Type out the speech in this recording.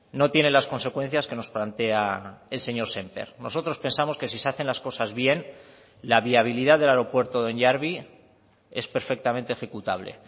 no tiene las consecuencias que nos plantea el señor sémper nosotros pensamos que si se hacen las cosas bien la viabilidad del aeropuerto de onyarbi es perfectamente ejecutable